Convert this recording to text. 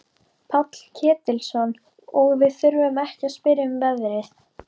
Páll Ketilsson: Og við þurfum ekki að spyrja um verðið?